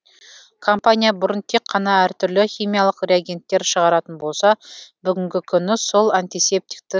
компания бұрын тек қана әртүрлі химиялық реагенттер шығаратын болса бүгінгі күні сол антисептикті